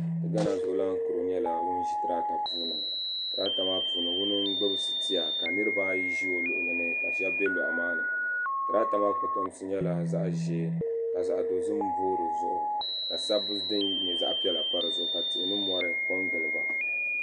Gaana zuɣulan kuro nyɛla ŋun ʒi tirata zuɣu tirata maa zuɣu ŋuna n gbibi sitiya niriba ayi ʒi o luɣuli ni ka sheba be lɔɣu maani tirata maa kotomsi nyɛla zaɣa ʒee ka zaɣa dozim boo dizuɣu ka sabbu din nyɛ zaɣa piɛla pa dizuɣu ka tihi ni mori kongili ba.